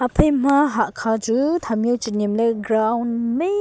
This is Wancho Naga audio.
phai ma hahkha chu tham jau chi nyemley ground mai.